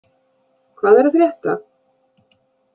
Hvað er að frétta?